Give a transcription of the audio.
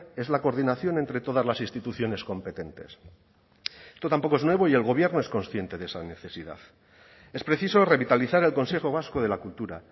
es la coordinación entre todas las instituciones competentes esto tampoco es nuevo y el gobierno es consciente de esa necesidad es preciso revitalizar el consejo vasco de la cultura